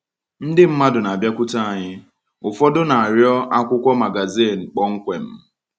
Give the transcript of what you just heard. Ndị mmadụ na-abịakwute anyị, ụfọdụ na-arịọ akwụkwọ magazin kpọmkwem.